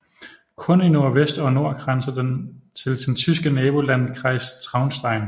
Kun i nordvest og nord grænser den til sin tyske nabolandkreis Traunstein